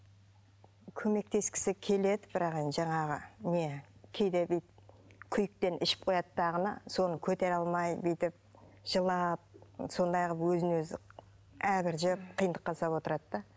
көмектескісі келеді бірақ енді жаңағы не кейде бүйтіп күйіктен ішіп қояды дағыны соны көтере алмай бүйтіп жылап сондай қылып өзін өзі әбіржіп қиындыққа салып отырады да